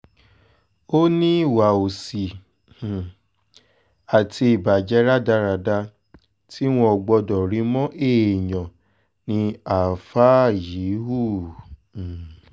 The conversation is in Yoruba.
ó ní ìwà òsì um àti ìbàjẹ́ rádaràda tí wọn ò gbọ́dọ̀ rí mọ́ èèyàn ni àáfáà yìí hù um